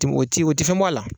Tɛ o tɛ fɛn bɔ a la